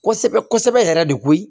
Kosɛbɛ kosɛbɛ yɛrɛ de koyi